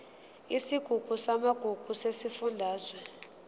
isigungu samagugu sesifundazwe